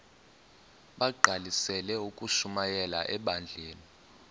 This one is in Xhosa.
bagqalisele ukushumayela ebandleni